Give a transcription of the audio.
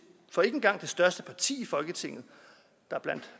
for ikke engang det største parti i folketinget der blandt